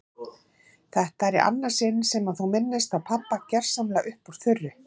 Þetta er í annað sinn sem þú minnist á pabba gersamlega upp úr þurru.